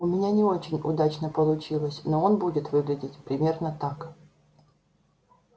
у меня не очень удачно получилось но он будет выглядеть примерно так